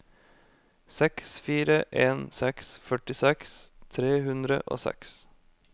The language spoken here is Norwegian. seks fire en seks førtiseks tre hundre og seks